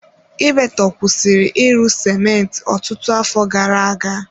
Ibeto kwụsịrị ịrụ sịmentị ọtụtụ afọ gara-aga.